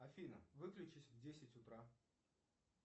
афина выключись в десять утра